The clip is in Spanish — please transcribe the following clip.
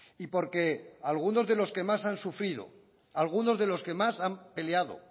y porque algunos de los que más han sufrido algunos de los que más han peleado